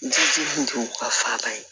ka faaba ye